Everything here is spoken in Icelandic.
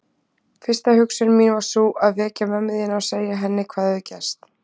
Fyrsta hugsun mín var sú að vekja mömmu þína og segja henni hvað hafði gerst.